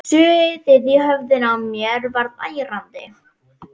Suðið í höfðinu á mér varð ærandi.